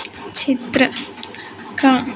चित्र का--